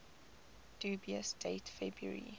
dubious date february